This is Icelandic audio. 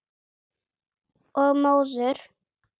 Og móður.